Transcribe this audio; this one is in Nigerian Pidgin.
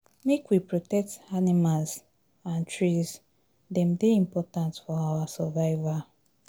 Make we protect animals and trees, dem dey important for our survival.